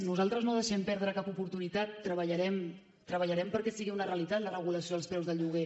nosaltres no deixem perdre cap oportunitat treballarem treballarem perquè sigui una realitat la regulació dels preus del lloguer